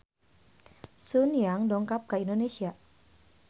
Sun Yang dongkap ka Indonesia